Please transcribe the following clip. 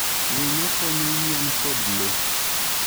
Winyo konyo yien kod le.